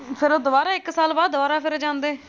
ਫਿਰ ਉਹ ਦੁਬਾਰਾ ਇੱਕ ਸਾਲ ਬਾਅਦ ਦੁਬਾਰਾ ਫਿਰ ਜਾਂਦੇ।